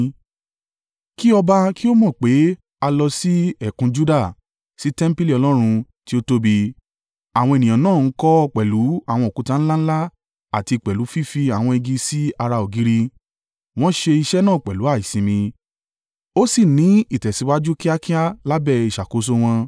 Kí ọba kí ó mọ̀ pé a lọ sí ẹ̀kún Juda, sí tẹmpili Ọlọ́run tí ó tóbi. Àwọn ènìyàn náà ń kọ́ ọ pẹ̀lú àwọn òkúta ńlá ńlá àti pẹ̀lú fífi àwọn igi sí ara ògiri. Wọ́n ṣe iṣẹ́ náà pẹ̀lú àìsimi, ó sì ń ní ìtẹ̀síwájú kíákíá lábẹ́ ìṣàkóso wọn.